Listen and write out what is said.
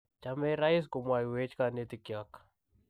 Chamei rais, komwoiwech kanetikyok.